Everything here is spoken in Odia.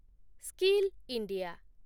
skill India